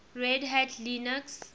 red hat linux